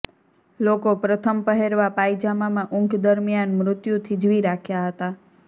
લોકો પ્રથમ પહેરવા પાયજામામાં ઊંઘ દરમિયાન મૃત્યુ થીજવી રાખ્યા હતા